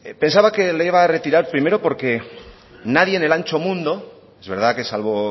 pensaba que lo iba a retirar primero porque nadie en el ancho mundo es verdad que salvo